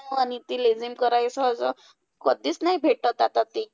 भारी ते लेझीम करायचं असं कधीच नाही भेटतं आता ते.